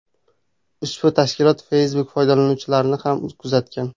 Ushbu tashkilot Facebook foydalanuvchilarini ham kuzatgan.